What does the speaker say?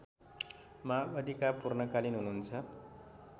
माओवादीका पूर्णकालीन हुनुहुन्छ